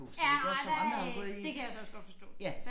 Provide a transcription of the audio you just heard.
Ja ej hvad øh det kan jeg så også godt forstå